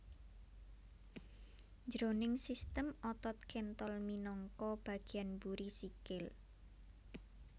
Jroning sistem otot kéntol minangka bagéyan mburi sikil